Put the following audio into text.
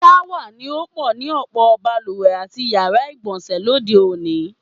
S̩áwà ni ó pò̩ ni ò̩pò̩ balùwè àti yàrá ìgbò̩nsè̩ lóde òní.